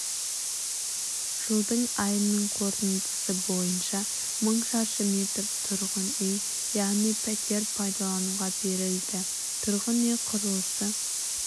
жылдың айының қорытындысы бойынша мың шаршы метр тұрғын үй яғни пәтер пайдалануға берілді тұрғын үй құрылысы